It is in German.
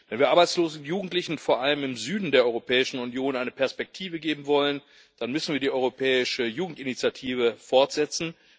Wenn wir Arbeitslosen und Jugendlichen vor allem im Süden der Europäischen Union eine Perspektive geben wollen, dann müssen wir die Europäische Jugendinitiative fortsetzen.